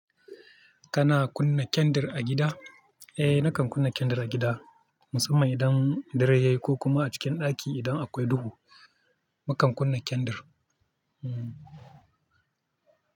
Kana kunna kyandir a gida? Eh nakan kunna kyandir a gida, musamman idan dare yayi ko kuma a cikin ɗaki idan akwai duhu, mukan kunna kyandir. Hmm.